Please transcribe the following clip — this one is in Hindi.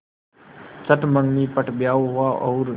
चट मँगनी पट ब्याह हुआ और